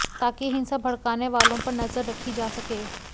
ताकि हिंसा भड़काने वालो पर नज़र रखी जा सके